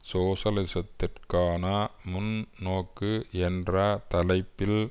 சோசலிசத்திற்கான முன்நோக்கு என்ற தலைப்பில்